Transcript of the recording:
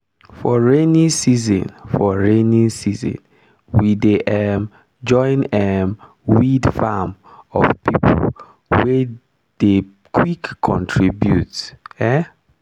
for rainy season for rainy season we dey um join um weed farm of people wey dey quick contribute. um